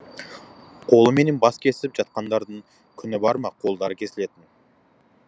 қолыменен бас кесіп жатқандардың күні бар ма қолдары кесілетін